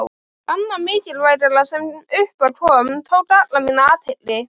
Annað mikilvægara sem upp á kom, tók alla mína athygli.